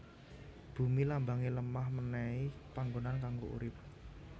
Bumi Lambange lemah menehi panggonan kanggo urip